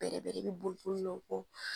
Bɛrɛ bɛrɛ ni boli boli la u kɔ.